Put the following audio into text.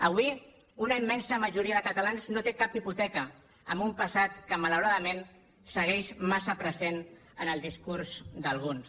avui una immensa majoria de catalans no té cap hipoteca en un passat que malauradament segueix massa present en el discurs d’alguns